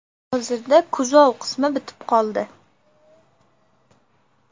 Hozirda kuzov qismi bitib qoldi.